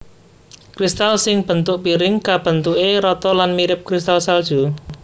Kristal sing bentuk piring kabentuke rata lan mirip kristal salju